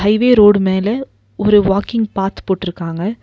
Highway road மேல ஒரு walking path போட்ருக்காங்க.